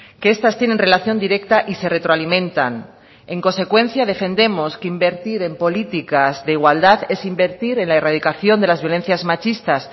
que estas tienen relación directa y se retroalimentan en consecuencia defendemos que invertir en políticas de igualdad es invertir en la erradicación de las violencias machistas